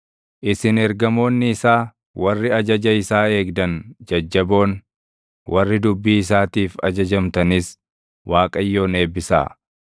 Isin ergamoonni isaa, warri ajaja isaa eegdan jajjaboon, warri dubbii isaatiif ajajamtanis Waaqayyoon eebbisaa.